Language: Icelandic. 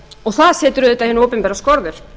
og það setur auðvitað hinu opinbera skorður